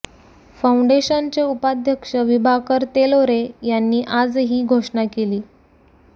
फाऊंडेशनचे उपाध्यक्ष विभाकर तेलोरे यांनी आज ही घोषणा केली